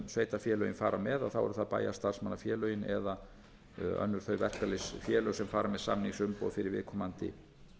sveitarfélögin fara með þá eru það bæjarstarfsmannafélögin eða önnur þau verkalýðsfélög sem fara með samningsumboð fyrir viðkomandi